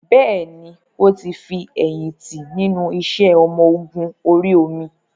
Bẹ́ẹ̀ni, ó ti fi èyìn tí nínú iṣẹ́ ọmọ Ogun orí omi